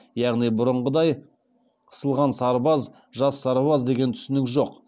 яғни бұрынғыдай ысылған сарбаз жас сарбаз деген түсінік жоқ